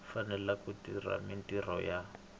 fanele ku tirha mintirho ya